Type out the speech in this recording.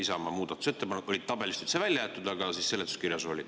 Isamaa muudatusettepanek oli tabelist üldse välja jäetud, aga seletuskirjas oli.